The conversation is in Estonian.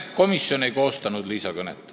Komisjon ei koostanud Liisa kõnet.